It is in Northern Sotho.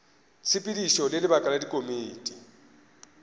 tshepedišo le lebaka la dikomiti